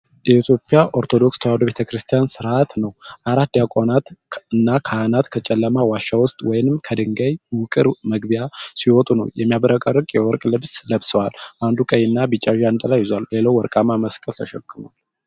የኢትዮጵያ ኦርቶዶክስ ተዋሕዶ ቤተ ክርስቲያን ሥርዓት ነው። አራት ዲያቆናትና ካህናት ከጨለማ ዋሻ ውስጥ ወይም ከድንጋይ ውቅር መግቢያ ሲወጡ ነው። የሚያብረቀርቅ የወርቅ ልብስ ለብሰዋል፤ አንዱ ቀይና ቢጫ ጃንጥላ ይዟል፤ ሌላው ወርቃማ መስቀል ተሸክሟል።